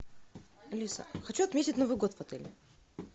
алиса хочу отметить новый год в отеле